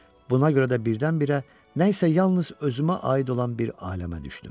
Buna görə də birdən-birə nə isə yalnız özümə aid olan bir aləmə düşdüm.